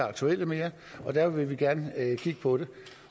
aktuelle mere og derfor vil vi gerne kigge på det